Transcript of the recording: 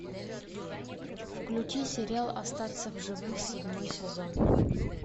включи сериал остаться в живых седьмой сезон